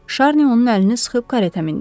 Şarni onun əlini sıxıb kareta mindi.